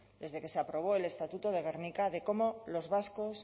desde que se aprobó el estatuto de gernika de cómo los vascos